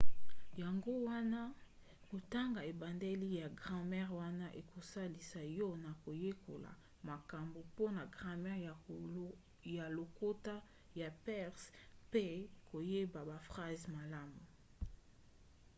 yango wana kotanga ebandeli ya gramere wana ekosalisa yo na koyekola makambo mpona gramere ya lokota ya perse mpe koyeba baphrase malamu